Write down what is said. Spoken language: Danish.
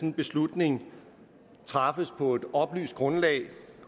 en beslutning træffes på et oplyst grundlag